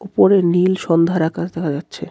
ওপরের নীল সন্ধ্যার আকাশ দেখা যাচ্ছে.